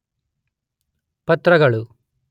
ಪತ್ರಗಳು